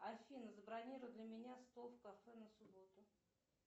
афина забронируй для меня стол в кафе на субботу